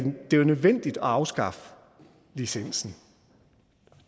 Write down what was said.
jo er nødvendigt at afskaffe licensen